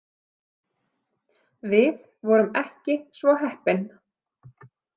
Við vorum ekki svo heppin.